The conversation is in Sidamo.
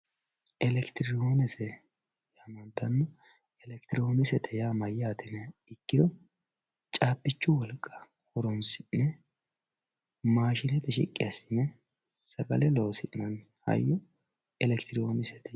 elekitiroonikisete yaamantanno elekitiroonikisete yaa mayyaate yiniha ikkiro caabbichu wolqa horoonsi'ne maashinete shiqqi assi'ne sagale loosi'nanni hayyo elekitiroonikisete yinanni